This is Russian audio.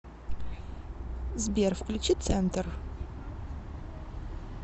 сбер включи центр